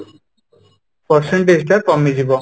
percentage ଟା କମିଯିବ